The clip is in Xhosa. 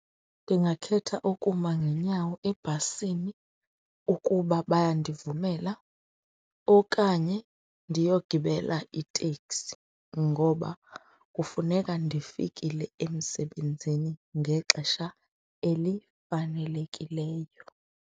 Ndingakhetha ukuma ngeenyawo ebhasini ukuba bayandivumela okanye ndiyogibela iteksi ngoba kufuneka ndifikile emsebenzini ngexesha elifanelekileyo.